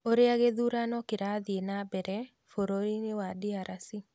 ũrĩa gĩthurano kĩrathi na mbere bũrũrinĩ wa DRC